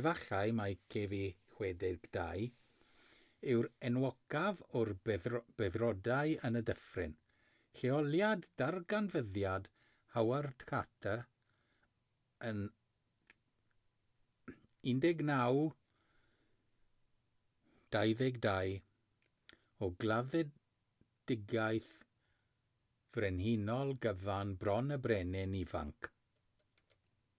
efallai mai kv62 yw'r enwocaf o'r beddrodau yn y dyffryn lleoliad darganfyddiad howard carter yn 1922 o gladdedigaeth frenhinol gyfan bron y brenin ifanc